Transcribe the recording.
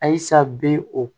Ayisa bɛ o